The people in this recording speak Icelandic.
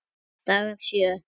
Dagar sjö